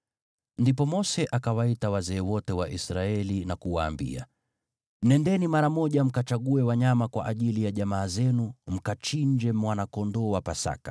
Ndipo Mose akawaita wazee wote wa Israeli na kuwaambia, “Nendeni mara moja mkachague wanyama kwa ajili ya jamaa zenu, mkachinje mwana-kondoo wa Pasaka.